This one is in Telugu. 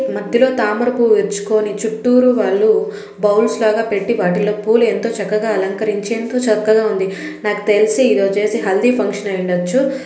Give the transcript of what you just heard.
మధ్యలో తామరపువ్వు విచ్చుకొని చూట్టూరు వాళ్ళు బౌల్స్ లాగా పెట్టి వాటిల్లో పూలు ఎంతో చక్కగా అలంకరించి ఎంతో చక్కగా ఉంది. నాకు తెలిసి ఇదచ్చేసి హల్దీ ఫంక్షన్ అయి ఉండచ్చు.